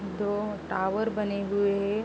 दो टावर बने हुए --